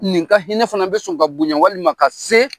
Nin ka hinɛ fana bɛ sɔn ka bonya walima ka se